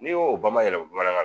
N'i y'o bamayɛlɛma bamanankan na